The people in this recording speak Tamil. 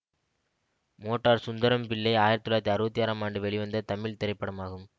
மோட்டார் சுந்தரம் பிள்ளை ஆயிரத்தி தொள்ளாயிரத்தி அறுபத்தி ஆறாம் ஆண்டு வெளிவந்த தமிழ் திரைப்படமாகும்